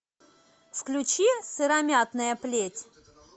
включи сыромятная плеть